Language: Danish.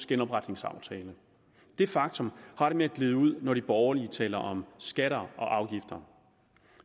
genopretningsaftale det faktum har det med at glide ud når de borgerlige taler om skatter og afgifter